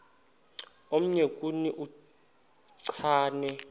omnye kuni uchane